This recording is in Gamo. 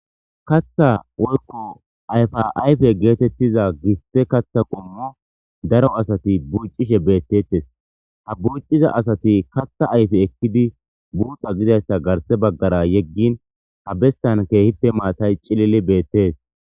kaththa woykko ayfa ayfe geetettiza giste katha qommo daro asati bucishe beettettes ha buuciza asati katha ayfe ekkidi buuxa gidayssa garse baggara yeggin ha bessan keehite maatay cilili beettes